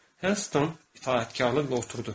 Helston itaətkarlıqla oturdu.